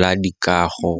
la dikago.